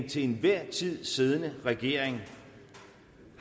til enhver tid siddende regering